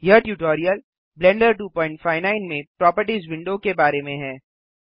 यह tutorial Blender 259 में properties window के बारे में है